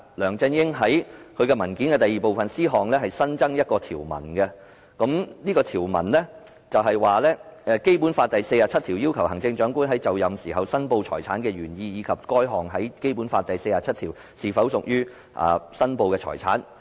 梁振英在文件第二部分 c 項新增一項條文："《基本法》第四十七條要求行政長官就任時申報財產的原意，以及該款項在《基本法》第四十七條是否屬於須予申報的財產"。